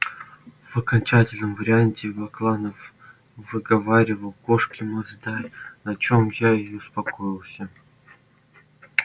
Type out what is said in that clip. в окончательном варианте бакланов выговаривал кошки масдай на чём я и успокоилась